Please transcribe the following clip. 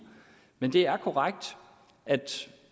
men det er korrekt at